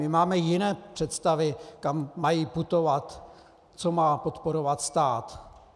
My máme jiné představy, kam mají putovat, co má podporovat stát.